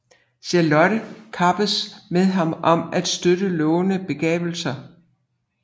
Charlotte kappedes med ham om at støtte lovende begavelser